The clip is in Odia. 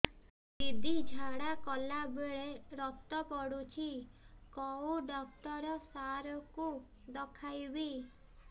ଦିଦି ଝାଡ଼ା କଲା ବେଳେ ରକ୍ତ ପଡୁଛି କଉଁ ଡକ୍ଟର ସାର କୁ ଦଖାଇବି